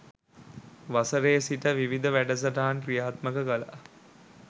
වසරේ සිට විවිධ වැඩසටහන් ක්‍රියාත්මක කළා.